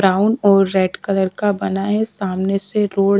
brown और red colour का बना है सामने से रोड़--